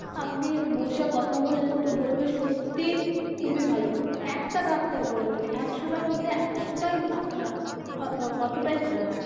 আপনি বসে কথা বলেন তো বলবেন সত্যিই খুবই ভালো একটা ডাক্তার বলে নয় একশোটা র মধ্যে একশোটাই আপনার অতোটাই ভালো থাকবে.